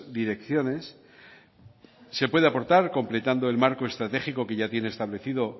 direcciones se puede aportar completando el marco estratégico que ya tiene establecido